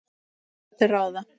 Og hvað er til ráða?